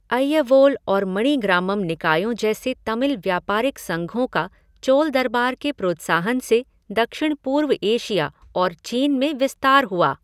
अय्यवोल और मणिग्रामम निकायों जैसे तमिल व्यापारिक संघों का चोल दरबार के प्रोत्साहन से दक्षिण पूर्व एशिया और चीन में विस्तार हुआ।